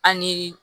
An ni